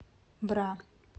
бра